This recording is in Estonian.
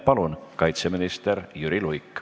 Palun, kaitseminister Jüri Luik!